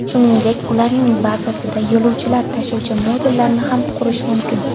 Shuningdek, ularning bazasida yo‘lovchilar tashuvchi modullarni ham qurish mumkin.